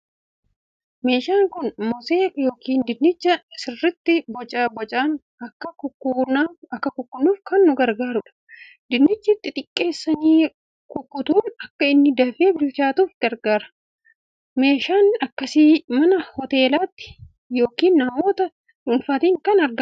Meeshaan kun mosee yookiin dinnicha sirriitti boca bocaan akka kukunnuuf kan nu gargaarudha. Dinnicha xixiqqeessanii kukkutuun akka inni dafee bilchaatuuf gargaara. Meeshaan akkasii mana hoteelaatti yookiin namoota dhuunfaatti kan argamudha.